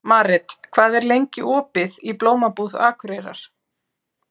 Marit, hvað er lengi opið í Blómabúð Akureyrar?